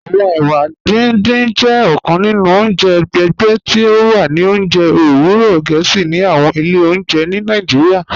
Awọn èwà dídìn jẹ ọ̀kàn nínu ọ̀njẹ ẹ̀gbẹ̀ tí o wà ní ọ̀njẹ̀ owurọ̀ Gẹẹsi ní àwọn ilẹ̀ ọ̀njẹ̀ ní Nàìjíríà.